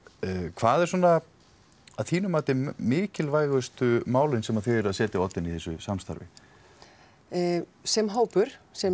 hvað er svona mikilvægustu málin sem þið eruð að setja á oddinn í þessu samstarfi sem hópur sem